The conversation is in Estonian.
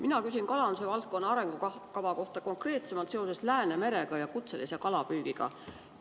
Mina küsin kalanduse valdkonna arengukava kohta, konkreetsemalt Läänemeres kutselise kalapüügi kohta.